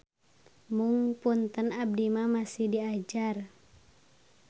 Mung punten abdi mah masih diajar.